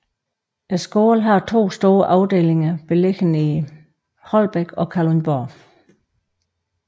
Skolen har 2 store afdelinger beliggende i Holbæk og Kalundborg